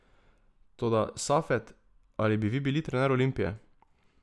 Toda, Safet, ali bi vi bili trener Olimpije?